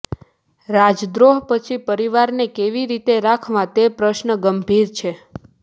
રાજદ્રોહ પછી પરિવારને કેવી રીતે રાખવા તે પ્રશ્ન ગંભીર છે